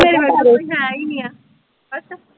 ਮੇਰੇ ਕੋਲ ਹੇਈ ਨੀ ਆ ਅੱਛਾ।